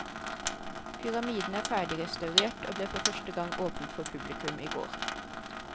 Pyramiden er ferdigrestaurert, og ble for første gang åpnet for publikum i går.